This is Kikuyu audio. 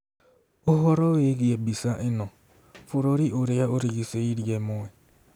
Ũhoro wĩgiĩ mbica ĩno: Bũrũri ũrĩa ũrigicĩirie ĩmwe.